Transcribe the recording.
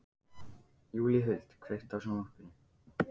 Júlíhuld, kveiktu á sjónvarpinu.